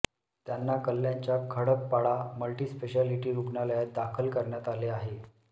त्यांना कल्याणच्या खडकपाडा मल्टिस्पेशालिटी रुग्णालयात दाखल करण्यात आले आहे